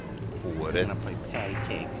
håret